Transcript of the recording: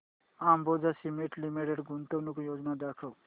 Ambuja cement limited गुंतवणूक योजना दाखव